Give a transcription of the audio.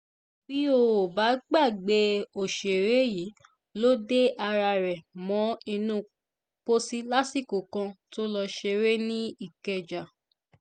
bẹ́ ò bá gbàgbé òṣèré yìí ló de ara rẹ̀ mọ́ inú pósí lásìkò kan tó lọ́ọ́ ṣeré ní ìkẹjà